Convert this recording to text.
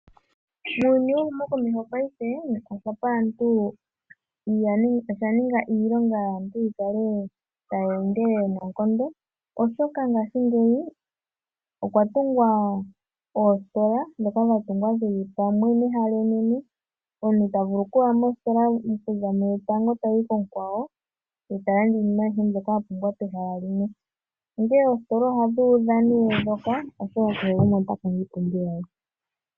Muuyuni wehumokomeho osha ninga iilonga yaantu yi kale tayi endelele noonkondo, oshoka ngaashigeyi okwa tungwa oositola ndhoka dha tungwa dhi li pamwe mehala enene. Omuntu ta vulu okuya mositola okuza kuyotango tayi konkwawo, e ta landa iinima ayihe mbyoka a pumbwa pehala limwe. Onkene oositola ndhoka ohadhi udha, oshoka kehe gumwe ota kongo iipumbiwa ye.